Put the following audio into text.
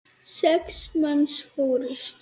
Sex manns fórust.